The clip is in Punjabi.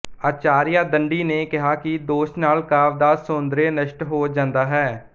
ਆਚਾਰੀਆ ਦੰਡੀ ਨੇ ਕਿਹਾ ਕਿ ਦੋਸ਼ ਨਾਲ ਕਾਵਿ ਦਾ ਸੌਂਦਰਯ ਨਸ਼ਟ ਹੋ ਜਾਂਦਾ ਹੈ